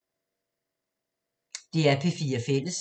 DR P4 Fælles